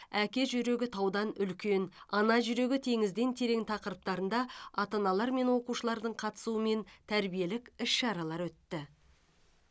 әке жүрегі таудан үлкен ана жүрегі теңізден терең тақырыптарында ата аналар мен оқушылардың қатысуымен тәрбиелік іс шаралар өтті